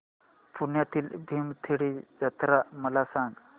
पुण्यातील भीमथडी जत्रा मला सांग